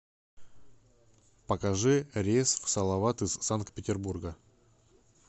покажи рейс в салават из санкт петербурга